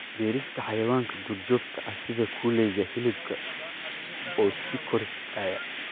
Beerista xayawaanka duurjoogta ah sida kuleyga hilibka oo sii kordhaya.